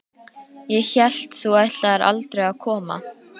Ég hélt þú ætlaðir aldrei að koma.